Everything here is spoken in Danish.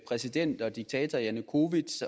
præsident og diktator janukovitj